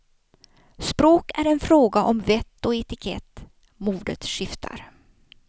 Språk är en fråga om vett och etikett, modet skiftar.